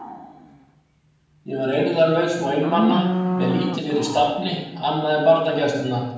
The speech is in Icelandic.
Ég var eirðarlaus og einmana með lítið fyrir stafni annað en barnagæsluna.